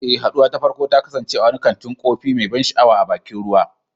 Eh, haduwar ta farko ta kasance a wani kantin kofi mai ban sha'awa a bakin ruwa.